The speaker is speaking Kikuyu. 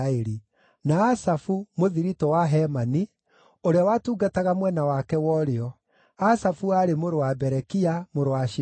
na Asafu, mũthiritũ wa Hemani, ũrĩa watungataga mwena wake wa ũrĩo: Asafu aarĩ mũrũ wa Berekia, mũrũ wa Shimea,